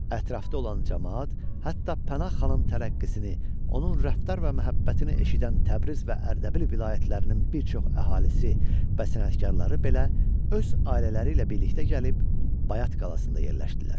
Ətrafda olan camaat, hətta Pənah xanın tərəqqisini, onun rəftar və məhəbbətini eşidən Təbriz və Ərdəbil vilayətlərinin bir çox əhalisi və sənətkarları belə öz ailələri ilə birlikdə gəlib Bayat qalasında yerləşdilər.